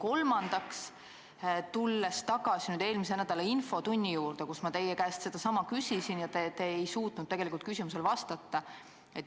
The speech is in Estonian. Kolmandaks ma tulen tagasi eelmise nädala infotunni juurde, kus ma teie käest sedasama küsisin, ent te ei suutnud tegelikult küsimusele vastata.